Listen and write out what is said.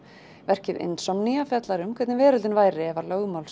verkið fjallar um hvernig veröldin væri ef lögmál